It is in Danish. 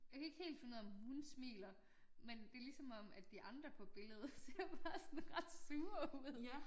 Jeg kan ikke helt finde ud af om hun smiler men det ligesom om at de andre på billedet ser bare sådan ret sådan sure ud